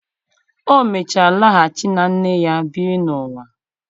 O mechara laghachi na nne ya biri n'ụwa.